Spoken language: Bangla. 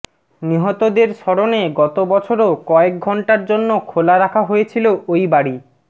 নিহতদের স্মরণে গত বছরও কয়েক ঘণ্টার জন্য খোলা রাখা হয়েছিল ওই বাড়ি